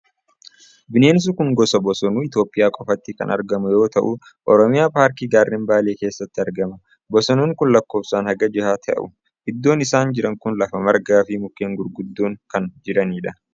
Bineensi kun gosa Bosonuu Itoophiyaa qofatti kan argamu yoo ta'u, Oromiyaa paarkii gaarren Baalee keessatti argama. Bosonuun kun lakkoofsaan haga jahaa ta'u. Iddoon isaan jiran kun lafa margaa fi mukkeen gurguddoon kan jiraniidha.